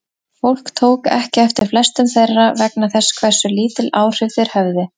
Fólk tók ekki eftir flestum þeirra vegna þess hversu lítil áhrif þeir höfðu.